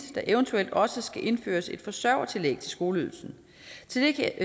der eventuelt også skal indføres et forsørgertillæg til skoleydelsen til det